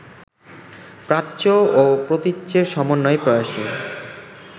প্রাচ্য ও প্রতীচ্যের সমন্বয়-প্রয়াসই